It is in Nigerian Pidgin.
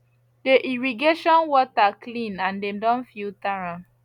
the irrigation water clean and dem don filter am